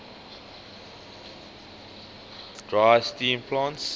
dry steam plants